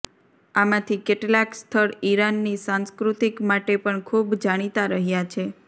આમાથી કેટલાક સ્થળ ઇરાનની સંસ્કૃતિ માટે પણ ખુબ જાણિતા રહ્યા છે